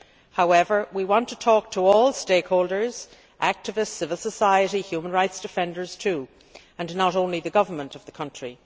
However, we want to talk to all stakeholders, activists, civil society and human rights defenders too, and not only the government of the country.